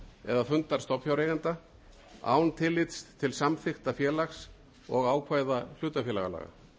eða fundar stofnfjáreigenda án tillits til samþykkta félags og ákvæða hlutafélagalaga í